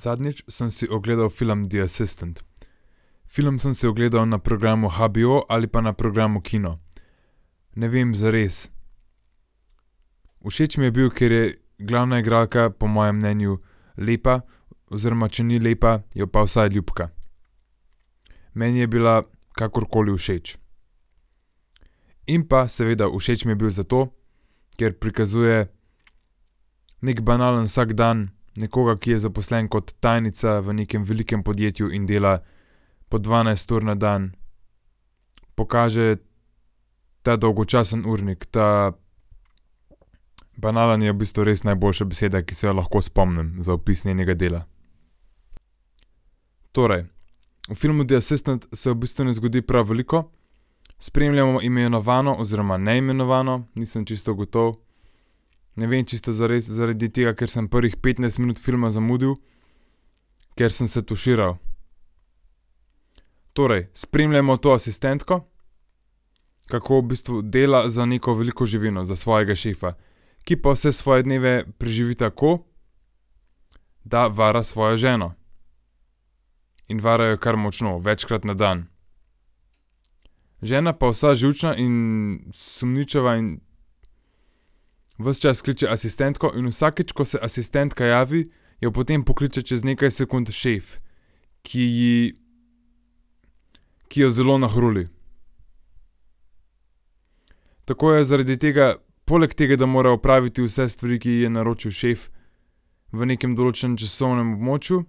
Zadnjič sem si ogledali film The Assistant. Film sem si ogledal na programu HBO ali pa na programu Kino. Ne vem zares. Všeč mi je bil, ker je glavna igralka po mojem mnenju lepa oziroma, če ni lepa, je pa vsaj ljubka. Meni je bila kakorkoli všeč. In pa seveda všeč mi je bil zato, ker prikazuje neki banalen vsakdan nekoga, ki je zaposlen kot tajnica v nekem velikem podjetju in dela po dvanajst ur na dan. Pokaže ta dolgočasni urnik, ta banalni, je v bistvu res najboljša beseda, ki se je lahko spomnim za opis njenega dela. Torej v filmu The Assistant se v bistvu ne zgodi prav veliko. Spremljamo imenovano oziroma neimenovano, nisem čisto gotov, ne vem, če ste zares zaradi tega, ker sem prvih petnajst minut zamudil, ker sem se tuširal. Torej spremljamo to asistentko, kako v bistvu dela za neko veliko živino, za svojega šefa, ki pa vse svoje dneve preživi tako, da vara svojo ženo, in vara jo kar močno, večkrat na dan. Žena pa vsa živčna in sumničava in ves čas kliče asistentko in vsakič, ko se asistentka javi, jo potem pokliče čez nekaj sekund šef, ki je ki jo zelo nahruli. Tako je zaradi tega, poleg tega, da mora opraviti vse stvari, ki ji je naročil šef, v nekem določenem časovnem območju,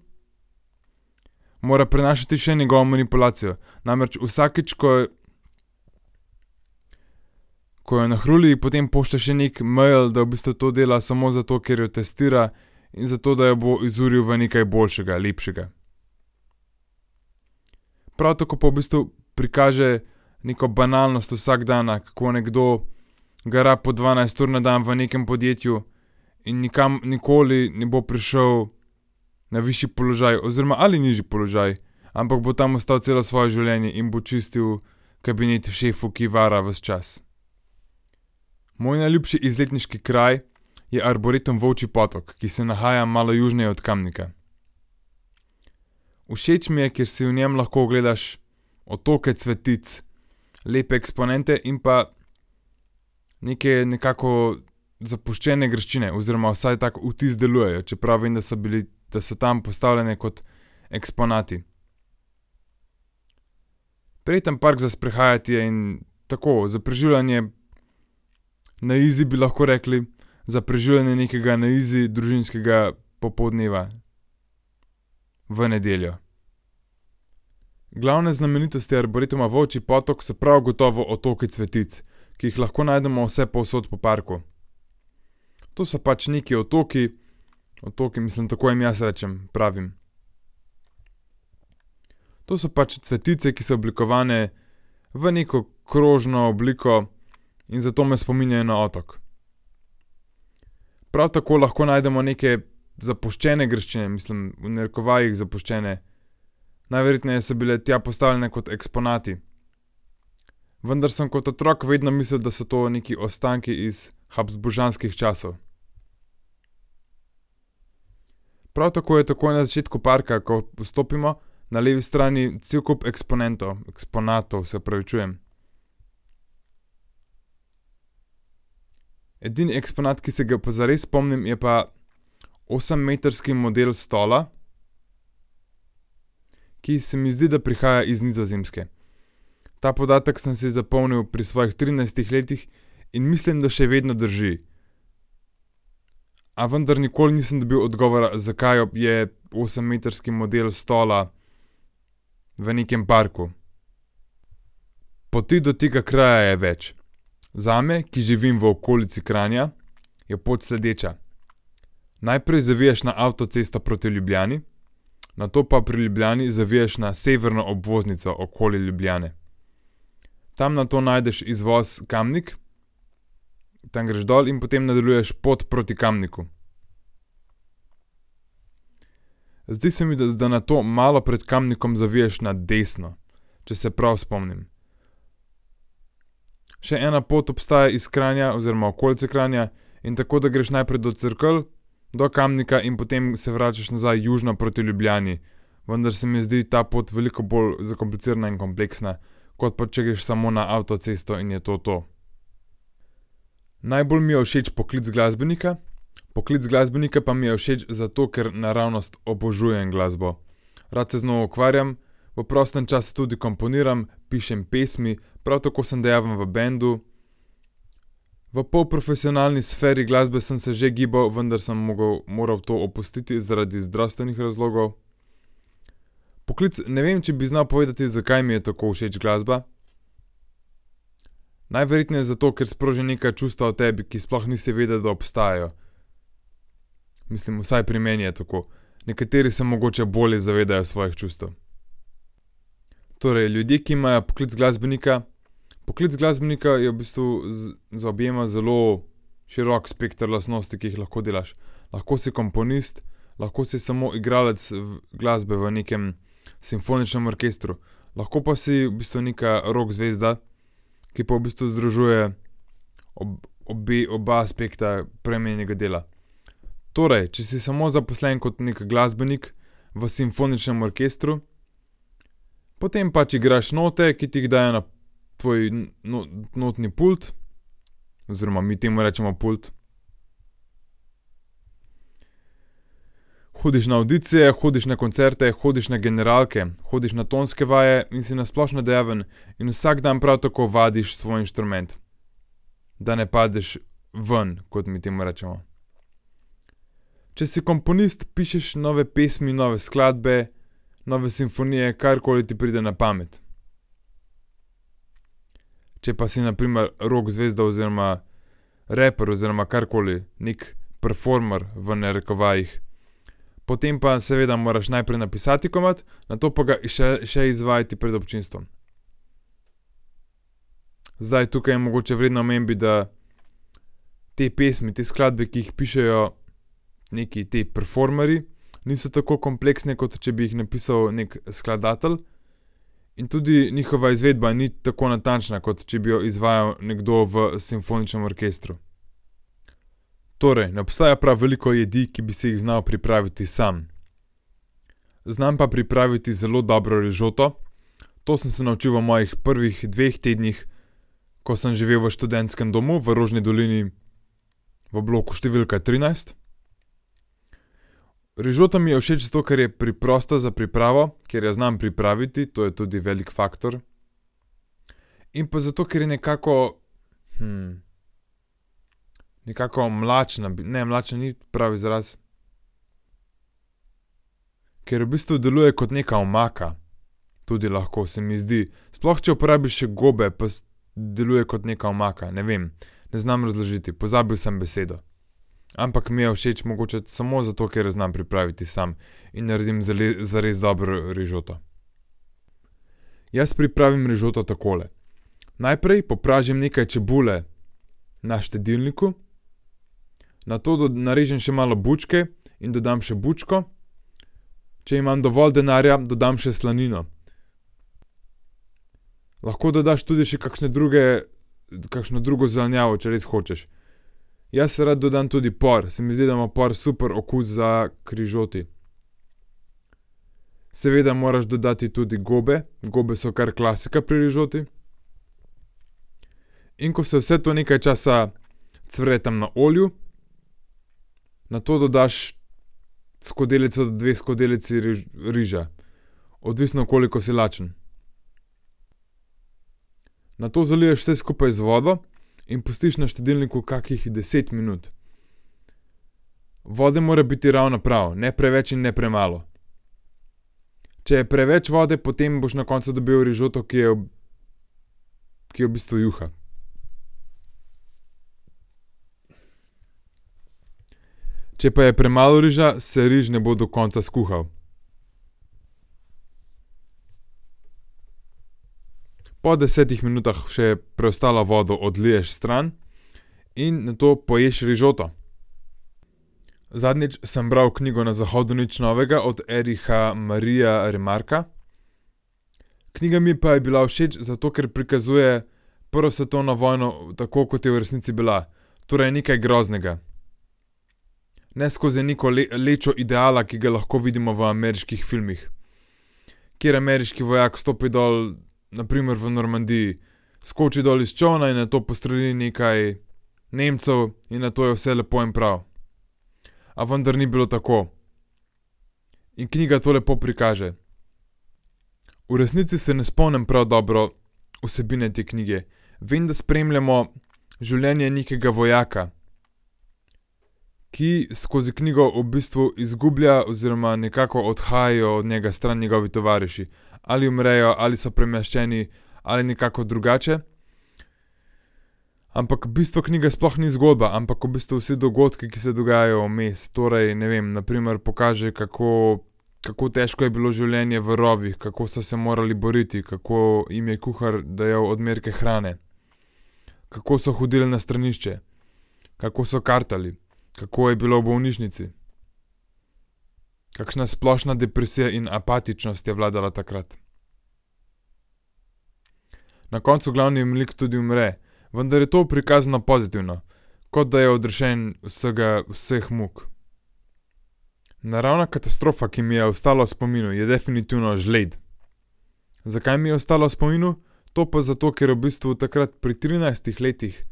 mora prenašati še njegovo manipulacijo. Namreč vsakič, ko je, ko jo nahruli, ji potem pošlje še neki mail, da v bistvu to dela samo zato, ker jo testira, in zato, da jo bo izuril v nekaj boljšega, lepšega. Prav tako pa v bistvu prikaže neko banalnost vsakdana, kako nekdo gara po dvanajst ur na dan v nekem podjetju in nikoli ne bo prišel na višji položaj oziroma ali nižji položaj. Ampak bo tam ostal celo svoje življenje in bo čistil kabinete šefu, ki vara ves čas. Moj najljubši izletniški kraj je Arboretum Volčji Potok, ki se nahaja malo južneje od Kamnika. Všeč mi je, ker si v njem lahko ogledaš otoke cvetic, lepe eksponente in pa neke, nekako zapuščene graščine oziroma, vsaj tako vtis delujejo, čeprav vem, da so bili, da so tam postavljene kot eksponati. Prijeten park za sprehajati je in tako za preživljanje na izi, bi lahko rekli, za preživljanje nekega na izi družinskega popoldneva v nedeljo. Glavna znamenitost je Arboretuma Volčji Potok so prav gotovo otoki cvetic, ki jih lahko najdemo vsepovsod po parku. To so pač neki otoki, otoki, mislim, tako jim jaz rečem, pravim. To so pač cvetice, ki so oblikovane v neko krožno obliko in zato me spominjajo na otok. Prav tako lahko najdemo neke zapuščene graščine, mislim, v narekovajih zapuščene. Najverjetneje so bile tja postavljene kot eksponati. Vendar sem kot otrok vedno mislil, da so to neki ostanki iz habsburžanskih časov. Prav tako je takoj na začetku parka, ko vstopimo, na levi strani cel kup eksponentov, eksponatov, se opravičujem. Edini eksponat, ki se ga pa zares spomnim, je pa osemmetrski model stola, ki se mi zdi, da prihaja iz Nizozemske. Ta podatek sem si zapomnil pri svojih trinajstih letih in mislim, da še vedno drži. A vendar nikoli nisem dobil odgovora, zakaj je osemmetrski model stola v nekem parku. Poti do tega kraja je več. Zame, ki živim v okolici Kranja, je pot sledeča. Najprej zaviješ na avtocesto proti Ljubljani, nato pa pri Ljubljani zaviješ na severno obvoznico okoli Ljubljane. Tam nato najdeš izvoz Kamnik, tam greš dol in potem nadaljuješ pot proti Kamniku. Zdi se mi, da za, da nato malo pred Kamnikom zaviješ na desno, če se prav spomnim. Še ena pot obstaja iz Kranja oziroma okolice Kranja in tako, da greš najprej do Cerkelj, do Kamnika in potem se vračaš nazaj južino proti Ljubljani. Vendar se mi zdi ta pot veliko bolj zakomplicirana in kompleksna, kot pa če greš samo na avtocesto in je to to. Najbolj mi je všeč poklic glasbenika. Poklic glasbenika pa mi je všeč zato, ker naravnost obožujem glasbo. Rad se z njo ukvarjam, v prostem času tudi komponiram, pišem pesmi, prav tako sem dejaven v bendu. V polprofesionalni sferi glasbe sem se že gibal, vendar se mogel, moral to opustiti zaradi zdravstvenih razlogov. Poklic ne vem, če bi znal povedati, zakaj mi je tako všeč glasba. Najverjetneje zato, ker sproži neka čustva v tebi, ki sploh nisi vedel, da obstajajo. Mislim, vsaj pri meni je tako. Nekateri se mogoče bolje zavedajo svojih čustev. Torej ljudje, ki imajo poklic glasbenika, poklic glasbenika v bistvu zaobjema zelo širok spekter lastnosti, ki jih lahko delaš. Lahko si komponist, lahko si samo igralec v glasbe v nekem simfoničnem orkestru, lahko pa si v bistvu neka rock zvezda, ki pa v bistvu združuje obe, oba spektra prej omenjenega dela. Torej, če si samo zaposlen kot neki glasbenik v simfoničnem orkestru, potem pač igraš note, ki ti jih dajo na tvoj notni pult, oziroma mi temu rečemo pult. Hodiš na avdicije, hodiš na koncerte, hodiš na generalke, hodiš na tonske vaje in si na splošno dejaven in vsak dan prav tako vadiš svoj inštrument, da ne padeš ven, kot mi temu rečemo. Če si komponist, pišeš nove pesmi, nove skladbe, nove simfonije, karkoli ti pride na pamet. Če pa si na primer rock zvezda oziroma raper oziroma karkoli, neki performer v narekovajih, potem pa seveda moraš najprej napisati komad, nato pa ga še, še izvajati pred občinstvom. Zdaj, tukaj je mogoče vredno omembe, da te pesmi, te skladbe, ki jih pišejo neki ti performerji niso tako kompleksne, kot če bi jih napisal neki skladatelj. In tudi njihova izvedba ni tako natančna, kot če bi jo izvajal nekdo v simfoničnem orkestru. Torej ne obstaja prav veliko jedi, ki bi si jih znal pripraviti sam. Znam pa pripraviti zelo dobro rižoto. To sem se naučil v mojih prvih dneh tednih, ko sem živel v študentskem domu v Rožni dolini v bloku številka trinajst. Rižota mi je všeč zato, ker je preprosta za pripravo, ker jo znam pripraviti, to je tudi velik faktor. In pa zato, ker je nekako, nekako mlačna ne, mlačna ni pravi izraz. Ker v bistvu deluje kot neka omaka. Tudi lahko se mi zdi. Sploh, če uporabiš še gobe pa z deluje kot neka omaka, ne vem, ne znam razložiti. Pozabil sem besedo. Ampak mi je všeč mogoče samo zato, ker jo znam pripraviti sam. In naredim zares dobro rižoto. Jaz pripravim rižoto takole. Najprej popražim nekaj čebule na štedilniku. Nato narežem še malo bučke in dodam še bučko. Če imam dovolj denarja, dodam še slanino. Lahko dodaš tudi še kakšne druge, kakšno drugo zelenjavo, če res hočeš. Jaz rad dodam tudi por, se mi zdi, da ima por super okus za k rižoti. Seveda moraš dodati tudi gobe, gobe so kar klasika pri rižoti. In ko se vse to nekaj časa cvre tam na olju, nato dodaš skodelico, dve skodelici riža. Odvisno, koliko si lačen. Nato zaliješ vse skupaj z vodo in pustiš na štedilniku kakih deset minut. Vode mora biti ravno prav. Ne preveč in ne premalo. Če je preveč vode, potem boš na koncu dobil rižoto, ki jo ki je v bistvu juha. Če pa je premalo riža, se riž ne bo do konca skuhal. Po desetih minutah še preostalo vodo odliješ stran. In nato poješ rižoto. Zadnjič sem bral knjigo Na zahodu nič novega od Ericha Maria Remarqua. Knjiga mi pa je bila všeč zato, ker prikazuje prvo svetovno vojno, tako kot je v resnici bila. Torej nekaj groznega. Ne skozi neko lečo ideala, ki ga lahko vidimo v ameriških filmih. Kjer ameriški vojak stopi dol na primer v Normandiji. Skoči dol iz čolna in nato postreli nekaj Nemcev in nato je vse lepo in prav. A vendar ni bilo tako. In knjiga to lepo prikaže. V resnici se ne spomnim prav dobro vsebine te knjige. Vem, da spremljamo življenje nekega vojaka, ki skozi knjigo v bistvu izgublja oziroma nekako odhajajo od njega stran njegovi tovariši. Ali umrejo ali so premeščeni ali nekako drugače. Ampak bistvo knjige sploh ni zgodba, ampak v bistvu vsi dogodki, ki se dogajajo vmes, torej ne vem, na primer pokaže, kako kako težko je bilo življenje v rovih. Kako so se morali boriti, kako jim je kuhar dajal odmerke hrane. Kako so hodili na stranišče. Kako so kartali, kako je bilo v bolnišnici. Kakšna splošna depresija in apatičnost je vladala takrat. Na koncu glavni lik tudi umre. Vendar je to prikazano pozitivno. Kot da je odrešen vsega, vseh muk. Naravna katastrofa, ki mi je ostala v spominu, je definitivno žled. Zakaj mi je ostala v spominu? To pa zato, ker v bistvu takrat pri trinajstih letih.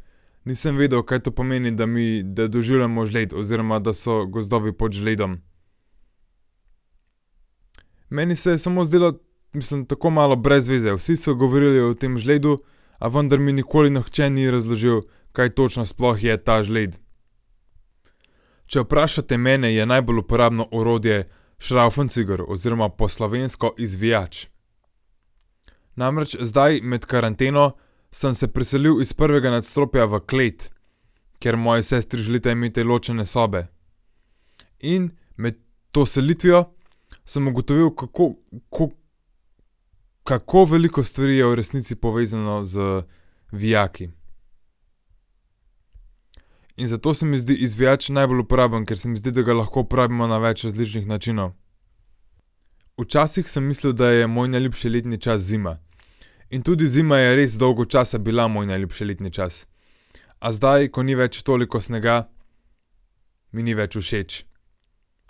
Nisem vedel, kaj to pomeni, da mi, da doživljamo žled oziroma da so gozdovi pod žledom. Meni se je samo zdelo, mislim, tako malo brez veze. Vsi so govorili o tem žledu, a vendar mi nikoli nihče ni razložil, kaj točno sploh je ta žled. Če vprašate mene, je najbolj uporabno orodje šravfenciger oziroma po slovensko izvijač. Namreč zdaj med karanteno sem se preselil iz prvega nadstropja v klet, ker moji sestri želita imeti ločene sobe. In med to selitvijo sem ugotovil kako, kako, kako veliko stvari je v resnici povezanih z, vijaki. In zato se mi zdi izvijač najbolj uporaben, ker se mi zdi, da ga lahko uporabimo na več različnih načinov. Včasih sem mislil, da je moj najljubši letni čas zima, in tudi zima je res dolgo časa bila moj najljubši letni čas. A zdaj, ko ni več toliko snega, mi ni več všeč.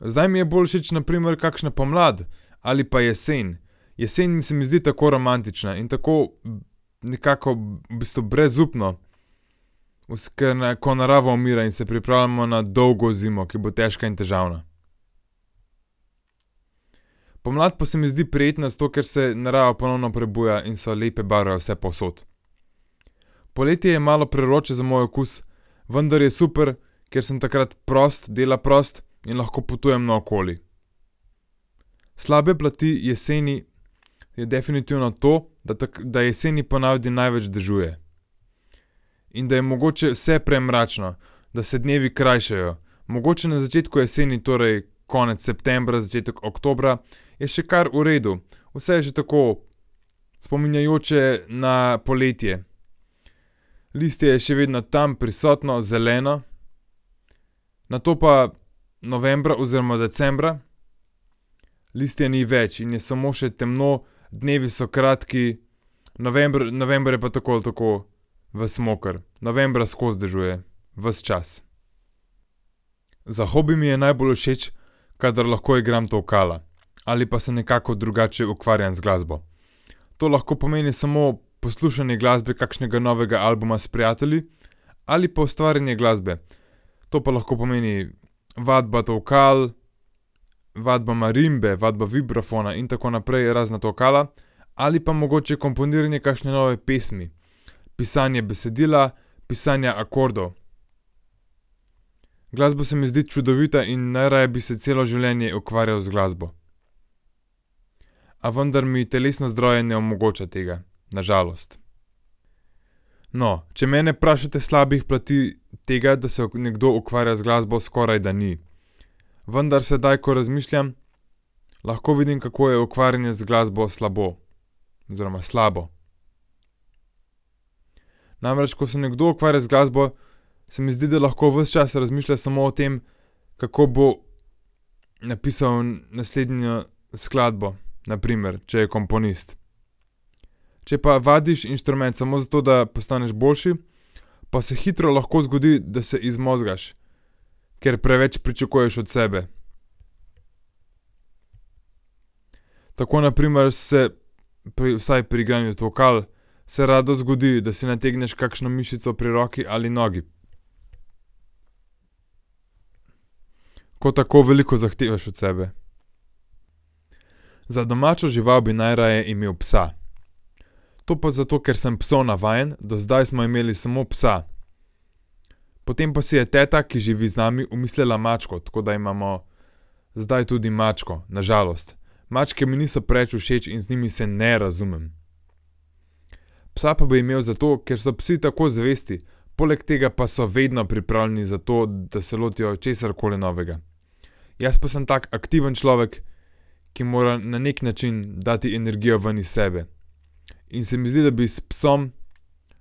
Zdaj mi je bolj všeč na primer kakšna pomlad ali pa jesen. Jesen se mi zdi tako romantična in tako nekako v bistvu brezupno, ker ko narava umira in se pripravljamo na dolgo zimo, ki bo težka in težavna. Pomlad pa se mi zdi prijetna zato, ker se narava ponovno prebuja in so lepe barve vsepovsod. Poleti je malo prevroče za moj okus, vendar je super, ker sem takrat prost, dela prost in lahko potujem naokoli. Slabe plati jeseni so definitivno to, da da jeseni po navadi največ dežuje. In da je mogoče vse premračno, da se dnevi krajšajo, mogoče na začetku jeseni, torej konec septembra, začetek oktobra, je še kar v redu, vse je še tako spominjajoče na poletje. Listje je še vedno tam prisotno, zeleno. Nato pa novembra oziroma decembra listja ni več in je samo še temno, dnevi so kratki, november, november je pa tako ali tako vas moker. Novembra skozi dežuje. Ves čas. Za hobi mi je najbolj všeč, kadar lahko igram tolkala. Ali pa se nekako drugače ukvarjam z glasbo. To lahko pomeni samo poslušanje glasbe, kakšnega novega albuma s prijatelji ali pa ustvarjanje glasbe. To pa lahko pomeni vadba tolkal, vadba marimbe, vadba vibrafona in tako naprej, razna tolkala ali pa mogoče komponiranje kakšne nove pesmi. Pisanje besedila, pisanje akordov. Glasba se mi zdi čudovita in najraje bi se celo življenje ukvarjal z glasbo. A vendar mi telesno zdravje ne omogoča tega. Na žalost. No, če mene vprašate, slabih plati tega, da se nekdo ukvarja z glasbo skoraj, da ni. Vendar sedaj, ko razmišljam, lahko vidim, kako je ukvarjanje z glasbo slabo. Oziroma slabo. Namreč ko se nekdo ukvarja z glasbo, se mi zdi, da lahko ves čas razmišlja samo o tem, kako bo napisal naslednjo skladbo, na primer, če je komponist. Če pa vadiš inštrument samo zato, da postaneš boljši, pa se hitro lahko zgodi, da se izmozgaš. Ker preveč pričakuješ od sebe. Tako na primer se pri vsaj, pri igranju tolkal, se rado zgodi, da si nategneš kakšno mišico pri roki ali nogi. Ko tako veliko zahtevaš od sebe. Za domačo žival bi najraje imel psa. To pa zato, ker sem psov navajen, do zdaj smo imeli samo psa. Potem pa si je teta, ki živi z nami, omislila mačko, tako da imamo zdaj tudi mačko, na žalost. Mačke mi niso preveč všeč in z njimi se ne razumem. Psa pa bi imel zato, ker so psi tako zvesti, poleg tega pa so vedno pripravljeni za to, da se lotijo česarkoli novega. Jaz pa sem tak aktiven človek, ki mora na neki način dati energijo ven iz sebe, in se mi zdi, da bi s psom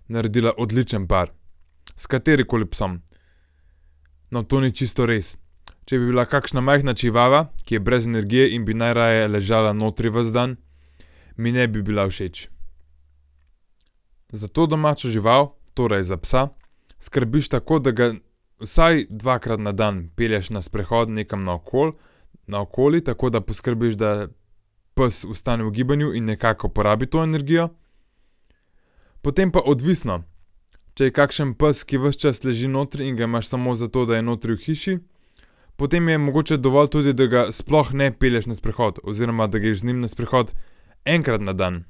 naredila odličen par. S katerimkoli psom. No, to ni čisto res. Če bi bila kakšna majhna čivava, ki je brez energije in bi najraje ležala notri ves dan, mi ne bi bila všeč. Za to domačo žival, torej za psa, skrbiš tako, da ga vsaj dvakrat na dan pelješ na sprehod nekam naokoli, naokoli tako da poskrbiš, da ps ostane v gibanju in nekako porabi to energijo. Potem pa odvisno, če je kakšen pes, ki vas čas leži notri in ga imaš samo zato, da je notri v hiši, potem je mogoče dovolj tudi, da ga sploh ne pelješ na sprehod oziroma, da greš z njim na sprehod enkrat na dan.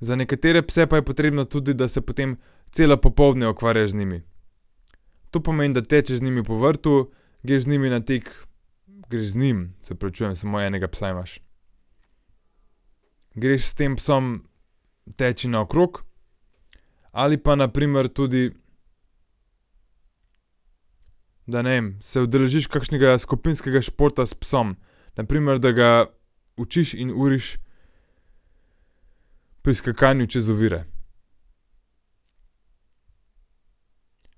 Za nekatere pse pa je potrebno tudi, da se potem cele popoldne ukvarjaš z njimi. To pomeni, da tečeš z njim po vrtu, greš z njimi na vrt, greš z njim, se opravičujem, samo enega psa imaš. Greš s tem psom teč naokrog ali pa na primer tudi, da ne vem, se udeležiš kakšnega skupinskega športa s psom na primer, da ga učiš in uriš pri skakanju čez ovire.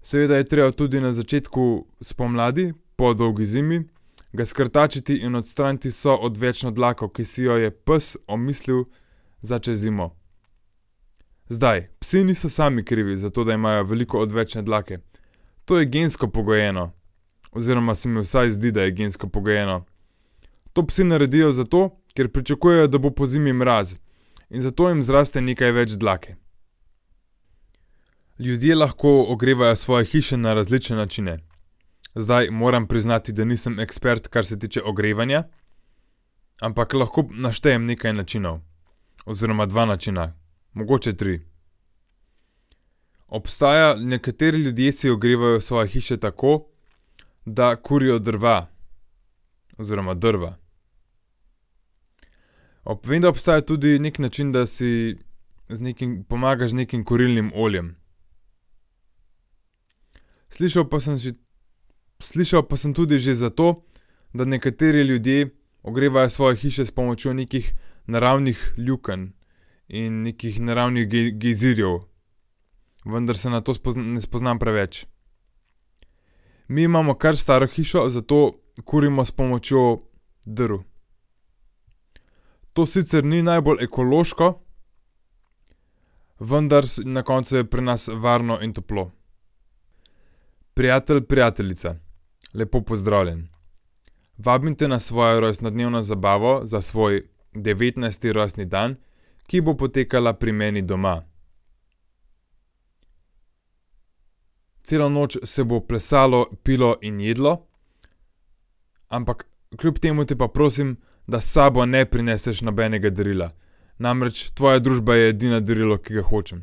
Seveda je treba tudi na začetku spomladi po dolgi zimi ga skrtačiti in odstraniti vso odvečno dlako, ki si ji jo je pes omislil za čez zimo. Zdaj, psi niso sami krivi, zato da imajo veliko odvečne dlake, to je gensko pogojeno. Oziroma se mi vsaj zdi, da je gensko pogojeno. To psi naredijo zato, ker pričakujejo, da bo pozimi mraz in zato jim zraste nekaj več dlake. Ljudje lahko ogrevajo svoje hiše na različne načine. Zdaj moram priznati, da nisem ekspert, kar se tiče ogrevanja, ampak lahko naštejem nekaj načinov oziroma dva načina, mogoče tri. Obstaja, nekateri ljudje si ogrevajo svoje hiše tako, da kurijo drva, oziroma drva. vem, da obstaja tudi neki način, da si z nekim pomagaš z nekim kurilnim oljem. Slišal pa sem že, slišal pa sem tudi že za to, da nekateri ljudje ogrevajo svoje hiše s pomočjo nekih naravnih lukenj. In nekih naravnih gejzirjev, vendar se na to ne spoznam preveč. Mi imamo kar staro hišo, zato kurimo s pomočjo drv. To sicer ni najbolj ekološko, vendar na koncu je pri nas varno in toplo. Prijatelj, prijateljica, lepo pozdravljen. Vabim te na svojo rojstnodnevno zabavo za svoj devetnajsti rojstni dan, ki bo potekala pri meni doma. Celo noč se bo plesalo, pilo in jedlo, ampak kljub temu potem pa prosim, da s sabo ne prineseš nobenega darila. Namreč tvoja družba je edino darilo, ki ga hočem.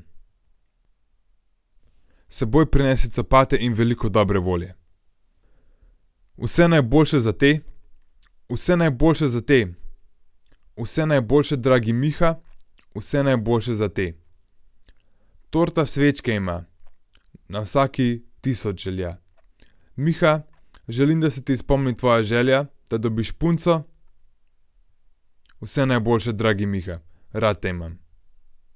S seboj prinesi copate in veliko dobre volje. Vse najboljše zate, vse najboljše zate, vse najboljše, dragi Miha, vse najboljše zate. Torta svečke ima, na vsaki tisoč želja. Miha, želim, da se ti izpolni tvoja želja, da dobiš punco. Vse najboljše, dragi Miha. Rad te imam.